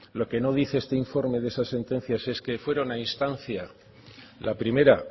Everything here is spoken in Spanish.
lo que no dice este informe de esa sentencia es que fueron a instancia la primera